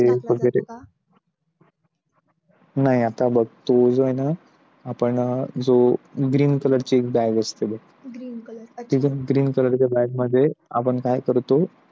नाही आता बघतो आहे ना, आपण बघ green color bag असते ते मग green color bag मध्ये आपण काय करतो?